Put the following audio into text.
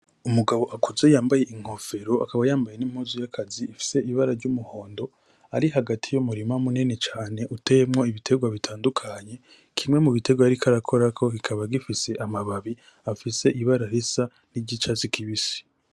Umugabo akuze yambaye inkofero , akaba yambaye n'impuzu y'akazi ifise ibara ry'umuhondo ari hagati y'umurima munini cane uteyemwo ibiterwa bitandukanye. Kimwe mu biterwa yariko arakorako kikaba gifise amababi y'icatsi kibisi.